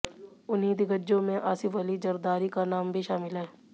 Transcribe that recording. उन्हीं दिग्गजों में आसिफ अली ज़रदारी का नाम भी शामिल है